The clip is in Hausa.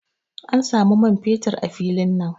An samu man fetur a filin nan.